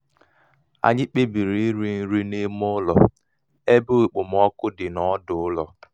anyị kpebiri iri nri n'ime ụlọ ebe okpomọkụ dị n'ọdụ ụlọ